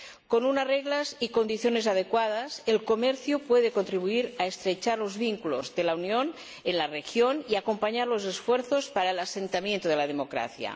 Con unas reglas y condiciones adecuadas, el comercio puede contribuir a estrechar los vínculos de la Unión en la región y acompañar los esfuerzos para el asentamiento de la democracia.